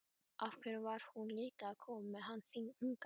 Af hverju var hún líka að koma með hann hingað?